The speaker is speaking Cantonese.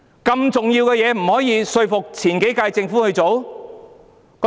如此重要的事，為何不能說服前幾屆政府去做？